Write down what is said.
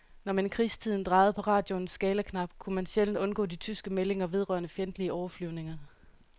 Når man i krigstiden drejede på radioens skalaknap, kunne man sjældent undgå de tyske meldinger vedrørende fjendtlige overflyvninger.